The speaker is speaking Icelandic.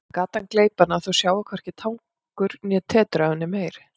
Að gatan gleypi hana og þau sjái hvorki tangur né tetur af henni meir.